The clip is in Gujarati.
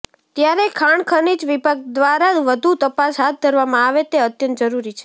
ત્યારે ખાણ ખનીજ વિભાગ દ્વારા વધુ તપાસ હાથ ધરવામાં આવે તે અત્યંત જરૃરી છે